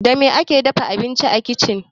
Da me ake dafa abinci a kicin?